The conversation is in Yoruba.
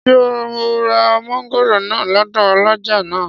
Ṣé ò ra mọ́ngòrò náà lọ́dọ̀ ọlọ́jà náà?